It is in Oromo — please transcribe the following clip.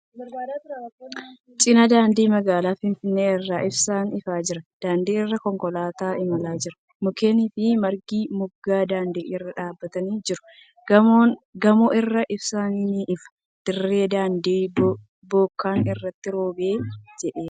Cinaa daandii magaalaa Finfinnee irra ibsaan ifaa jira. Daandii irra konkolaataan imalaa jira. Mukkeeni fi margi moggaa daandii irra dhaabbatanii jiru. Gamoo irraa ibsaan ni ifa. Dirri Daandii bokkaan irratti roobee jiidheera